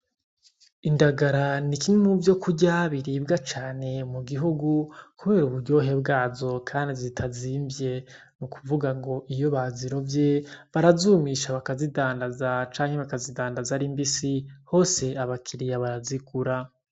Indagara ni kimwe mu vyokurya biribwa cane mugihugu kubera uburyohe bwazo kandi zitazimvye n'ukuvuga ngo iyo bazirovye barazumisha bakazidandaza canke bakazidandaza ari mbisi hose aba kiriya barazigura.